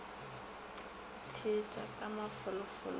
go theetša ka mafolofolo go